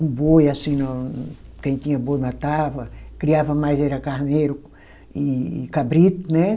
Um boi, assim ó, quem tinha boi matava, criava mais era carneiro e e cabrito, né?